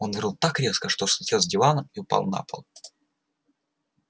он рыл так резко что слетел с дивана и упал на пол